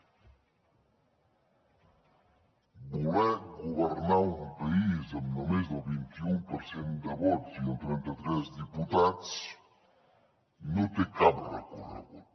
voler governar un país amb només el vint i u per cent de vots i amb trenta tres diputats no té cap recorregut